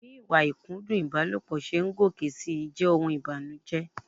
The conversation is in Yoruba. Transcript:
Bí ìwà ìkúndùn ìbálòpọ̀ ṣe ń gòkè si jẹ́ ohun ìbànújẹ.